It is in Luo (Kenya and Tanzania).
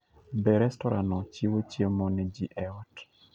Be restorano chiwo chiemo ne ji e ot?